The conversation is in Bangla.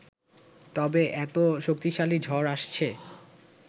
তবে এত শক্তিশালী ঝড় আসছে